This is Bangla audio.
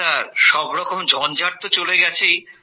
স্যার সব রকম ঝঞ্জাট তো চলে গেছেই